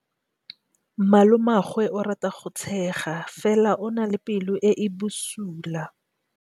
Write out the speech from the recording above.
Malomagwe o rata go tshega fela o na le pelo e e bosula.